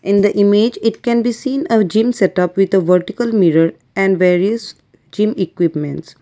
in the image it can be seen a zym set of with a vertical mirror and there is zym equipments.